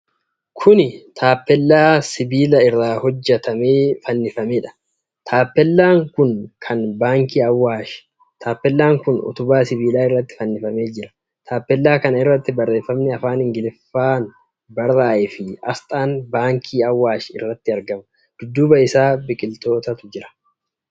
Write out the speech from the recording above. Kuni Taappellaa sibiila irraa hojjatamee fannifameedha. Taappellaan kun kan baankii Awaashi. Taappellaan kun utubaa sibiilaa irratti fannifamee jira. Taappellaa kana irratti barreefami afaan Ingiliffaan barraa'efii asxaan baankii Awaash irratti argama. Dudduba isaa biqilootatu jira.